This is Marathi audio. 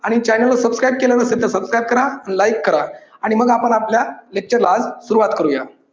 आणि channel ला subscribe केलं नसेल तर subscribe करा like करा आणि मग आपण आपल्या lecture ला आज सुरुवात करुया